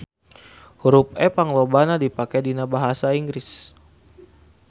Hurup E panglobana dipake dina basa Inggris.